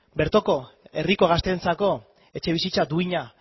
bertoko herriko gazteentzako etxebizitza duina